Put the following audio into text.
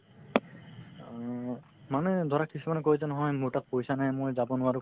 মানে ধৰা কিছুমানে কই যে নহয় মোৰ তাত পইচা নাই মই যাব নোৱাৰো